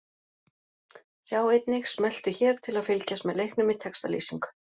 Sjá einnig: Smelltu hér til að fylgjast með leiknum í textalýsingu